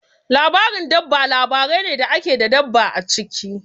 Labarin dabba labarai ne da ke da dabba a ciki.